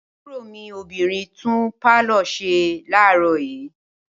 Àbúrò mi obìnrin tún pálọ̀ ṣe láàárọ̀ yìí.